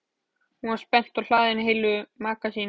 Hún var spennt og hlaðin heilu magasíni.